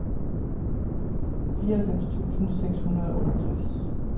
fireoghalvfems tusind seks hundrede og otteogtres